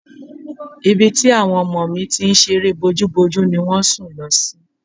Ibi tí àwọn ọmọ mi ti ń ṣeré bójúbojú ni wọ́n sùn lọ sí